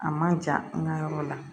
A ma ja n ka yɔrɔ la